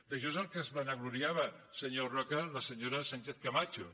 d’això és del que es vanagloriava senyor roca la senyora sánchezcamacho